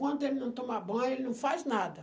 Enquanto ele não tomar banho, ele não faz nada.